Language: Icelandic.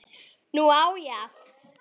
Nú á ég allt.